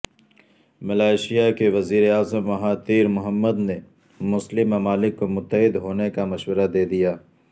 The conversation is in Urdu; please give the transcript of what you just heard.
ملائیشیا کے وزیراعظم مہاتیر محمد نے مسلم ممالک کو متحد ہونے کا مشورہ دے دیا